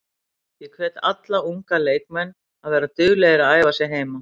Ég hvet alla unga leikmenn að vera duglegir að æfa sig heima.